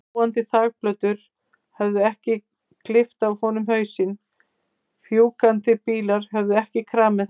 Fljúgandi þakplötur höfðu ekki klippt af honum hausinn, fjúkandi bílar höfðu ekki kramið hann.